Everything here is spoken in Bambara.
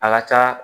A ka ca